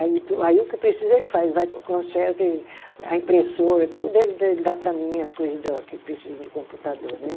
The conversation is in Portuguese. Aí tu, aí o que precisa ele faz, vai com, conserta e, a impressora, tudo ele ele dá para mim, as coisa da que precisa no computador, né?